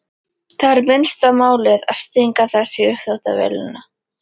Það er minnsta málið að stinga þessu í uppþvottavélina.